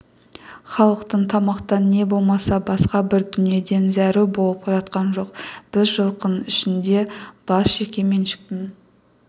халықтың тамақтан не болмаса басқа бір дүниеден зәру болып жатқан жоқ біз жылқының ішінде бас жекеменшіктің